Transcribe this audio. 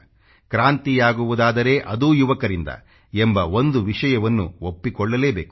ಕ್ರಾಂತಿಯಾಗುವುದಾದರೆ ಅದೂ ಯುವಕರಿಂದ ಎಂಬ ಒಂದು ವಿಷಯವನ್ನ ಒಪ್ಪಿಕೊಳ್ಳಲೇಬೇಕು